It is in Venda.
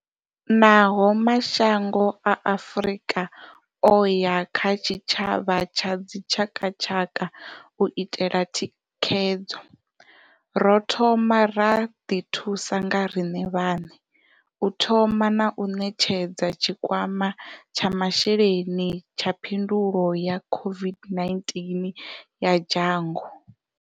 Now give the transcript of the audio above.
Naho mashango a Afrika o ya kha tshi tshavha tsha dzi tshakatshaka u itela thikhedzo, ro thoma ra ḓithusa nga riṋe vhaṋe u thoma na u ṋetshedza tshikwama tsha masheleni tsha phindulo ya COVID-19 ya dzhango.